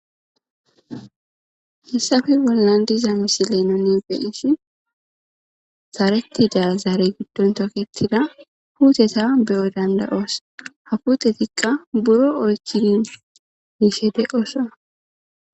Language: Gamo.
Hissafe bollan diza misi nuni beeishi zaarettida zaare giddon toketida huuteta beyo dandayoos hakutetikka buro oychiin yiishe deqosa.